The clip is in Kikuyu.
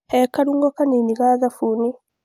He karung'o kanini ka thabuni.